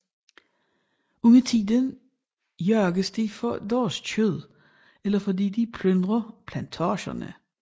Undertiden jages de for deres kød eller fordi de plyndrer plantager